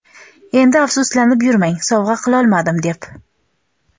endi afsuslanib yurmang sovg‘a qilolmadim deb.